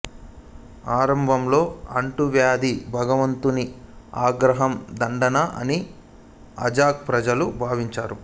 ఆరంభంలో అంటువ్యాధి భగవంతుని ఆగ్రహం దండన అని అజ్తక్ ప్రజలు భావించారు